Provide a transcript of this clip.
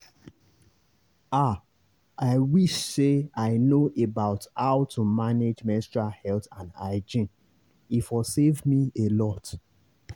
ah i wish say i know about how to manage menstrual health and hygiene e for save me alot.